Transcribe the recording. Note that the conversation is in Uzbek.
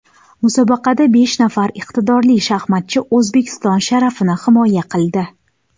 Musobaqada besh nafar iqtidorli shaxmatchi O‘zbekiston sharafini himoya qildi.